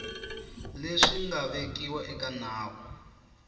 leswi nga vekiwa eka nawu